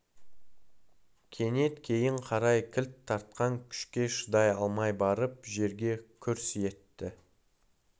кенет кейін қарай кілт тартқан күшке шыдай алмай барып жерге күрс етті